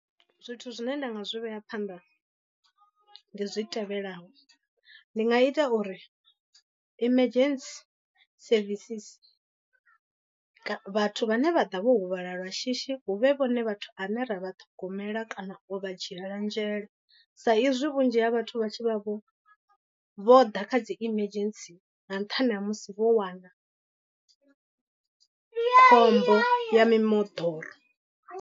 Zwithu zwine nda nga zwi vhea phanḓa ndi zwi tevhelaho, ndi nga ita uri emergency services vhathu vhane vha ḓa vho huvhala lwa shishi huvhe vhone vhathu ane ra vha ṱhogomela kana u vha dzhiela nzhele. Sa izwi vhunzhi ha vhathu vha tshi vha vho vho ḓa kha dzi emergency nga nṱhani ha musi vho wana khombo ya mimoḓoro.